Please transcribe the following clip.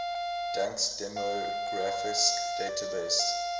dansk demografisk database